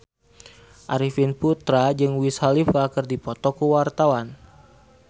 Arifin Putra jeung Wiz Khalifa keur dipoto ku wartawan